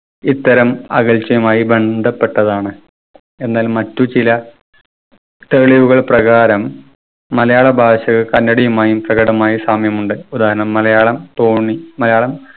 ഇത്തരം അകൽച്ചയുമായി ബന്ധപ്പെട്ടതാണ്. എന്നാൽ മറ്റു ചില തെളിവുകൾ പ്രകാരം മലയാള ഭാഷയും കന്നടയുമായി പ്രകടമായി സാമ്യമുണ്ട്. ഉദാഹരണം മലയാള തോന്നി മലയാളം